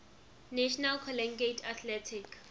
national collegiate athletic